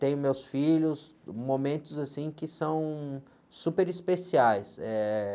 Tenho meus filhos, momentos que são super especiais. Eh...